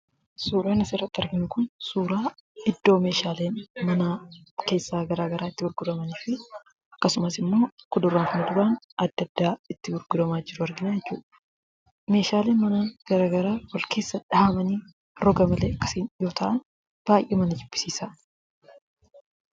Suuraan asirratti arginu kun, suuraa iddoo meeshaaleen manaa keessaa garagaraa itti gurguramuu fi akkasumas immoo kuduraa fi muduraan adda addaa itti gurguramaa jiru arginaa jechuudha. Meeshaaleen manaa garagaraa wal keessa dhahamanii roga malee akkasiin yoo taa'an, baay'ee nama jibbisiisa.